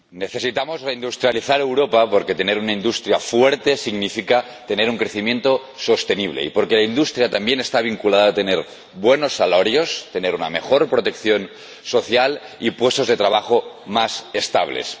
Señora Presidenta, necesitamos reindustrializar Europa porque tener una industria fuerte significa tener un crecimiento sostenible, y porque la industria también está vinculada a tener buenos salarios, a tener una mejor protección social y puestos de trabajo más estables.